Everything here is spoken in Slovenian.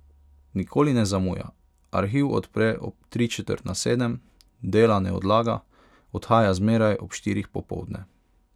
Nikoli ne zamuja, arhiv odpre ob tri četrt na sedem, dela ne odlaga, odhaja zmeraj ob štirih popoldne.